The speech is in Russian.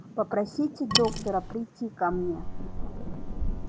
попросите доктора прийти ко мне